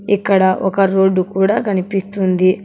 ఇక్కడ ఒక రోడ్డు కూడా కనిపిస్తుంది.